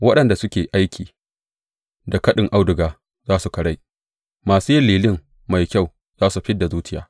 Waɗanda suke aiki da kaɗin auduga za su karai, masu yin lilin mai kyau za su fid da zuciya.